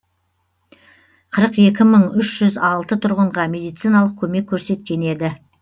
қырық екі мың үш жүз алты тұрғынға медициналық көмек көрсеткен еді